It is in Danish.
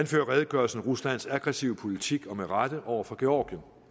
redegørelsen ruslands aggressive politik og med rette over for georgien